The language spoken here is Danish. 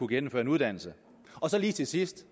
gennemføre en uddannelse så lige til sidst